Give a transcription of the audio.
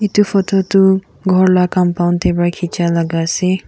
Etu photo do korla compund teybra kichi laga asa.